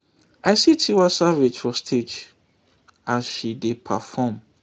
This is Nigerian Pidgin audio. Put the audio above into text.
i see tiwa savage for stage as she dey perform